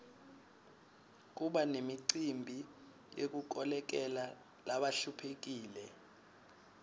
kuba nemicimbi yekukolekela labahluphekile